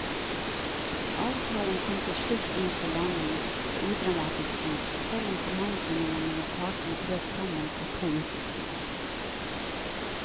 Avtalen kom til slutt inn for landing på udramatisk vis, selv om forhandlingene mellom partene brøt sammen for to uker siden.